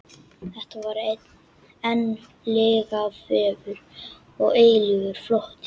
Þetta var einn lygavefur og eilífur flótti.